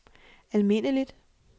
almindeligt